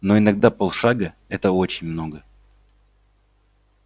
но иногда полшага это очень много